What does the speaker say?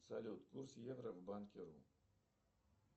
салют курс евро банки ру